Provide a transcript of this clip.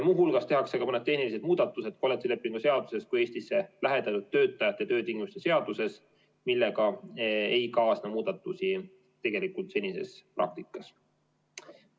Muuhulgas tehakse ka mõned tehnilised muudatused nii kollektiivlepingu seaduses kui ka Eestisse lähetatud töötajate töötingimuste seaduses, millega ei kaasne muudatusi senises praktikas.